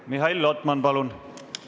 Mihhail Lotman, palun!